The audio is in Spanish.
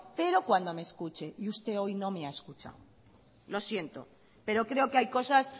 pero cuando me escuche y usted hoy no me ha escuchado lo siento pero creo que hay cosas